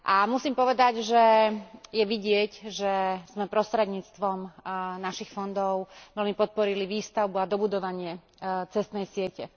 Musím povedať, že je vidieť, že sme prostredníctvom našich fondov veľmi podporili výstavbu a dobudovanie cestnej siete.